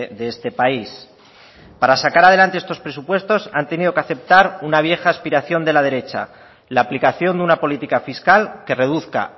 de este país para sacar adelante estos presupuestos han tenido que aceptar una vieja aspiración de la derecha la aplicación de una política fiscal que reduzca